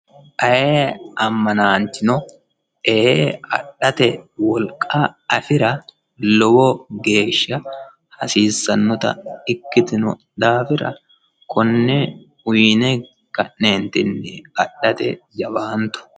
ayee ammanaanchino ee adhate wolqa afira hasiissanota ikkitino daafira konne uyiine ka'neentinni adhate jawaanto.